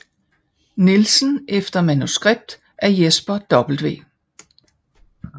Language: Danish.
Nielsen efter manuskript af Jesper W